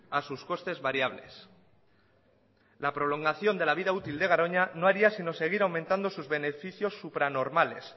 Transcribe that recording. a sus costes variables la prolongación de la vida útil de garoña no haría sino seguir aumentando sus beneficios supranormales